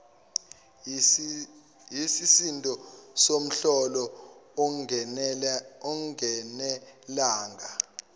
yisisindo somholo ungenelanga